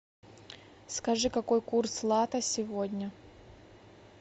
скажи какой курс лата сегодня